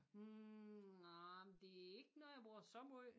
Hm nah det er ikke noget jeg bruger så måj